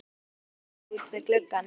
Við fengum sæti út við glugga.